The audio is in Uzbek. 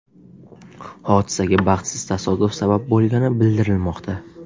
Hodisaga baxtsiz tasodif sabab bo‘lgani bildirilmoqda.